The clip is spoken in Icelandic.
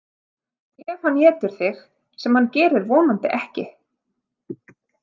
Ef hann étur þig sem hann gerir vonandi ekki.